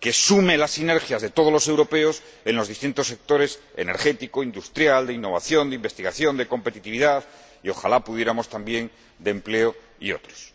que sume las sinergias de todos los europeos en los distintos sectores energético, industrial, de innovación, de investigación, de competitividad, y ojalá pudiéramos también, de empleo y otros.